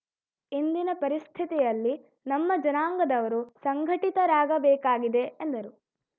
ಇಂದಿನ ಪರಿಸ್ಥಿತಿಯಲ್ಲಿ ನಮ್ಮ ಜನಾಂಗದವರು ಸಂಘಟಿತರಾಗಬೇಕಾಗಿದೆ ಎಂದರು